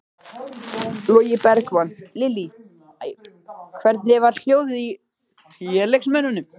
Logi Bergmann: Lillý, hvernig var hljóðið í félagsmönnum?